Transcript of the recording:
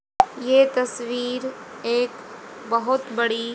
ये तस्वीर एक बहोत बड़ी--